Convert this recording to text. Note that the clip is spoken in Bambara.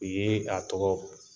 U ye a tɔgɔ